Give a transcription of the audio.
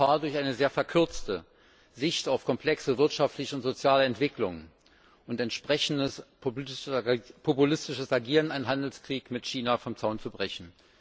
Wir laufen Gefahr, durch eine sehr verkürzte Sicht auf komplexe wirtschaftliche und soziale Entwicklungen und durch entsprechendes populistisches Agieren einen Handelskrieg mit China vom Zaun zu brechen.